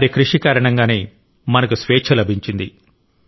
వారి కృషి కారణంగానే మనకు స్వేచ్ఛ లభించింది